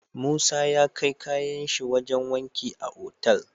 Musa ya kai kayan shi wajan wanki a Otal